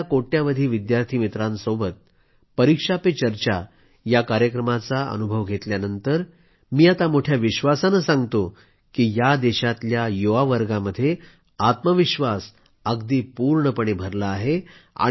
देशातल्या कोट्यवधी विद्यार्थी मित्रांबरोबर परीक्षा पे चर्चाया कार्यक्रमाचा अनुभव घेतल्यानंतर मी आता मोठ्या विश्वासानं सांगतो की या देशातल्या युवावर्गामध्ये आत्मविश्वास अगदी पूर्णपणे भरला आहे